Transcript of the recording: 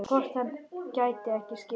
Hvort hann gæti ekki skipt?